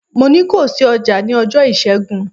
Mo ní ko ṣí ọjà ní ọjọ́ Ìṣẹ́gun!